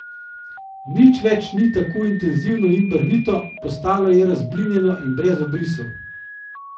Nič več ni tako intenzivno in barvito, postalo je razblinjeno in brez obrisov.